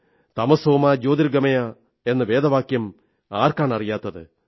തമസോ മാ ജ്യോതിർഗമയ എന്ന വേദവാക്യം ആർക്കാണറിയാത്തത്